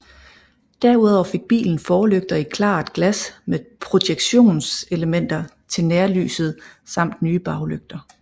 Derudover fik bilen forlygter i klart glas med projektionselementer til nærlyset samt nye baglygter